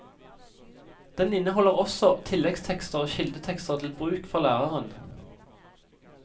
Den inneholder også tilleggstekster og kildetekster til bruk for læreren.